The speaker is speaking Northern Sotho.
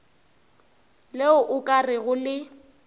le o ka rego le